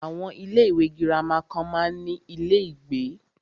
Àwọn ilé ìwé gírámà kan máa ń ní ilé ìgbé.